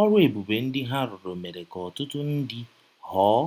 Ọrụ ebube ndị ha rụrụ mere ka ọtụtụ ndị ghọọ